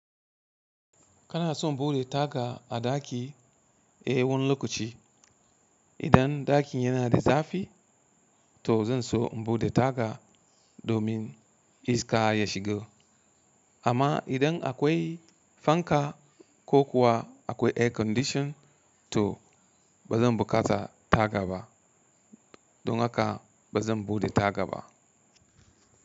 Kana son bude taga a ɗaki e wani lokaci. Idan ɗakin yana da zafi, to zan so in bude taga domin iska ya shigo. Amma idan akwai fanka ko kuwa akwai air condition, to ba zan buƙata taga ba. Don haka ba zan bude taga ba.